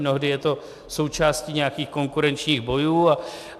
Mnohdy je to součástí nějakých konkurenčních bojů.